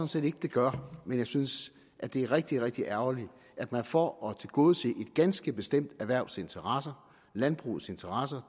set ikke det gør men jeg synes at det er rigtig rigtig ærgerligt at man for at tilgodese et ganske bestemt erhvervs interesser landbrugets interesser